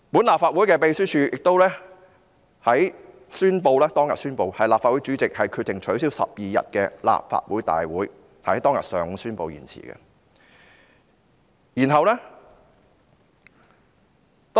立法會秘書處當天宣布，立法會主席決定取消12日的立法會會議，是在當天上午宣布延後的。